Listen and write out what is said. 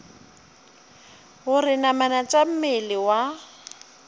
gore namana tša mmele wa